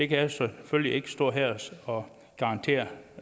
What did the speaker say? kan jeg selvfølgelig ikke står her og garantere